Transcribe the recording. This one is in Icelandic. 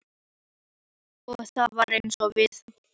Og það var einsog við manninn mælt.